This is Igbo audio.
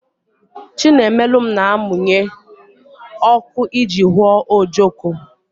Chinemelum na-amụnye ọkụ iji hụọ ojoko